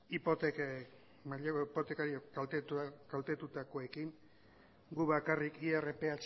hipotekekin mailegu hipoteken kaltetuekin guk bakarrik irph